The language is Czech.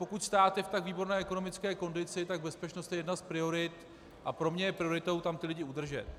Pokud stát je v tak výborné ekonomické kondici, tak bezpečnost je jedna z priorit a pro mě je prioritou tam ty lidi udržet.